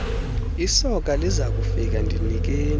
lesoka lizakufika ndinikeni